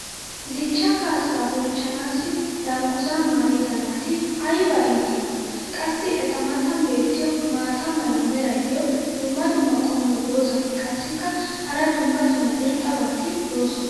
dichchaa kaasaa bonchchanaassi dangguzaa maayida naati ayba iitiyoonaa. qassi eta matan beetiya maata mala meray diyo dumma dumma qommo dozzati qassikka hara dumma dumma irxxabati doosona.